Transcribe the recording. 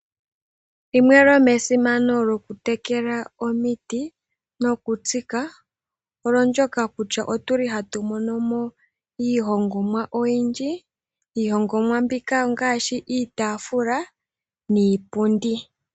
Limwe lyomesimano lyokutekela omiti nokutsika, olyo ndyoka kutya otuli hatu mono mo iihongomwa oyindji, iihongomwa mbika ongaashi iitaafula niipundi.